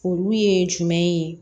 Olu ye jumɛn ye